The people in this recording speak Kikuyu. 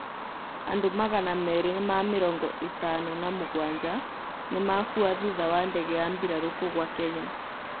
Andũ magana meerĩ ma mĩrongo ĩtano na mũgwanja nĩmakũa thutha wa ndege ya mbirarũ kũgwa Kenya